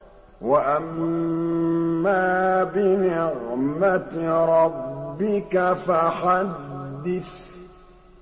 وَأَمَّا بِنِعْمَةِ رَبِّكَ فَحَدِّثْ